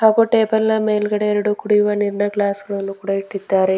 ಹಾಗು ಟೇಬಲ್ ನ ಮೇಲ್ಗಡೆ ಎರಡು ಕುಡಿಯುವ ನೀರ್ನ ಗ್ಲಾಸ್ಗ ಳನ್ನು ಕೂಡ ಇಟ್ಟಿದ್ದಾರೆ.